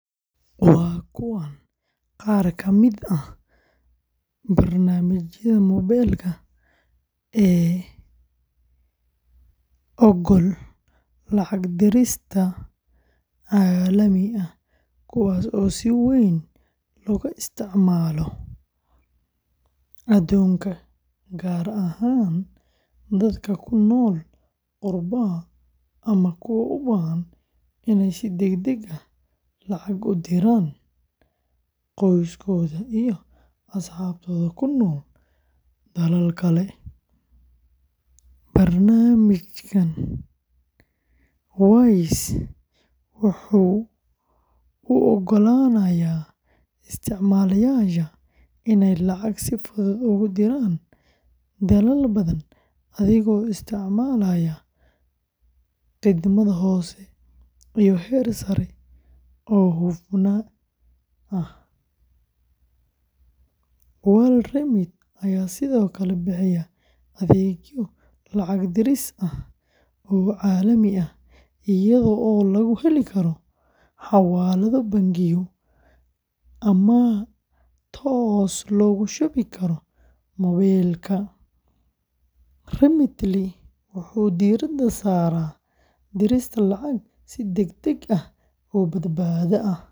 Waa kuwan qaar ka mid ah barnaamijyada moobilka ee oggol lacag diris caalami ah, kuwaas oo si weyn looga isticmaalo adduunka, gaar ahaan dadka ku nool qurbaha ama kuwa u baahan inay si degdeg ah lacag ugu diraan qoysaskooda iyo asxaabtooda ku nool dalal kale: Barnaamijka Wise wuxuu u oggolaanayaa isticmaalayaasha inay lacag si fudud ugu diraan dalal badan adigoo isticmaalaya khidmad hoose iyo heer sarreeya oo hufnaan ah; WorldRemit ayaa sidoo kale bixiya adeegyo lacag diris ah oo caalami ah iyadoo lagu heli karo xawaalado, bangiyo, ama toos loogu shubi karo moobilka; Remitly wuxuu diiradda saaraa dirista lacag si degdeg ah oo badbaado leh.